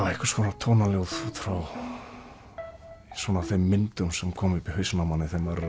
einhvers konar tónaljóð út frá þeim myndum sem koma upp í hausinn á manni þegar maður er